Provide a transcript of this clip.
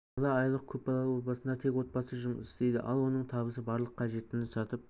бала айлық көп балалы отбасында тек отағасы жұмыс істейді ал оның табысы барлық қажеттіні сатып